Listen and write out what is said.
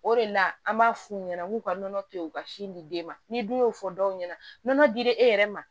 O de la an b'a f'u ɲɛna k'u ka nɔnɔ to yen u ka sin di den ma ni dun y'o fɔ dɔw ɲɛna nɔnɔ dira e yɛrɛ ma